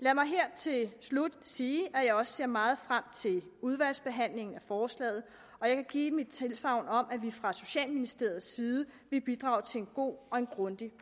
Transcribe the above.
lad mig her til slut sige at jeg også ser meget frem til udvalgsbehandlingen af forslaget og jeg kan give tilsagn om at vi fra socialministeriets side vil bidrage til en god og grundig